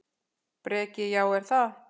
Breki: Já, er það?